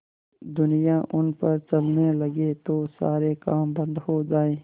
दुनिया उन पर चलने लगे तो सारे काम बन्द हो जाएँ